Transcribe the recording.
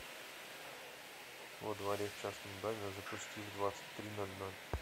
во дворе в частном доме запусти в двадцать три ноль ноль